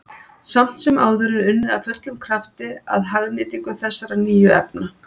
Samt sem áður er unnið af fullum krafti að hagnýtingu þessara nýju efna.